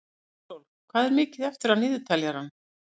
Ísól, hvað er mikið eftir af niðurteljaranum?